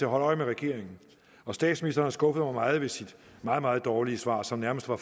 holde øje med regeringen og statsministeren har skuffet mig meget ved sit meget meget dårlige svar som nærmest var